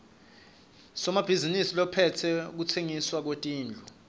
somabhizinisi lophetse kutsengiswa kwetindlu